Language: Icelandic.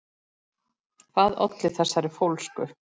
Hvað olli þessari fólsku?